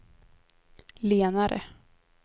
lenare